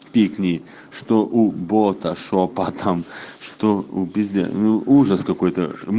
пикни что у борта шёпотом что обезьяну